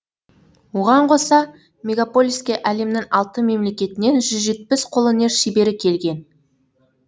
оған қоса мегаполиске әлемнің алты мемлекетінен жүз жетпіс қолөнер шебері келген